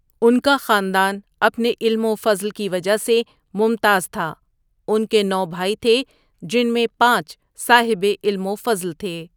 ان کا خاندان اپنے علم وفضل کی وجہ سے ممتاز تھا، ان کے نوبھائی تھے جن میں پانچ صاحب علم وفضل تھے۔